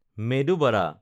মেদু বাদা